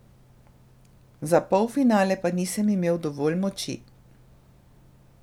Za polfinale pa nisem imel dovolj moči.